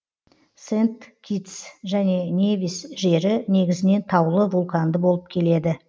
сент киттс және невис жері негізінен таулы вулканды болып келеді